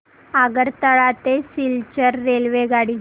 आगरतळा ते सिलचर रेल्वेगाडी